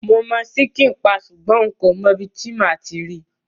Mo ṣikin paii sugbon nko mo ibi ti màa ti ri